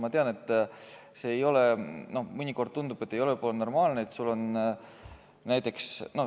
Ma tean, et mõnikord tundub, et see ei ole normaalne.